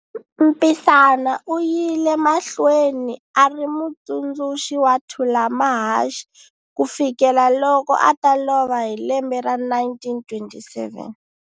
Mpisana uyile mahlweni ari mutsundzuxi wa Thulamahashe ku fikela loko ata lova hi lembe ra 1927.